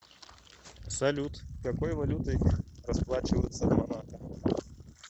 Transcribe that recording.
салют какой валютой расплачиваются в монако